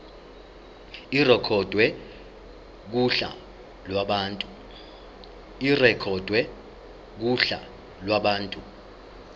irekhodwe kuhla lwabantu